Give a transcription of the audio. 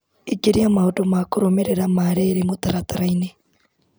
Ingĩria maũndũ ma kũrũmĩrĩra ma rĩrĩ mũtaratara-inĩ .